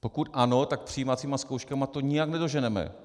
Pokud ano, tak přijímacími zkouškami to nijak nedoženeme.